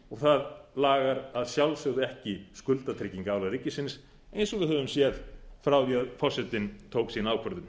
og það lagar að sjálfsögðu ekki skuldatryggingarálag ríkisins eins og við höfum séð frá því að forsetinn tók sína ákvörðun